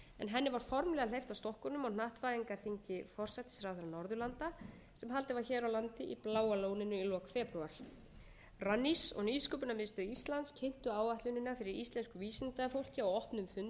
henni var formlega hleypt af stokkunum á hnattvæðingarþingi forsætisráðherra norðurlanda sem haldin var hér á landi í bláa lóninu í lok febrúar rannís og nýsköpunarmiðstöð íslands kynntu áætlunina fyrir íslensku vísindafólki á opnum fundi sem haldinn var í